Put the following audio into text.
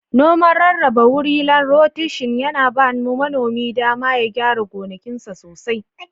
Noman rarraba wuri/ lan roteshin yana ba manomin dama ya gyara gonakinsa sosai.